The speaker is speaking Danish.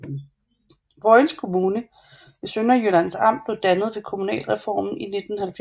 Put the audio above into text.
Vojens Kommune i Sønderjyllands Amt blev dannet ved kommunalreformen i 1970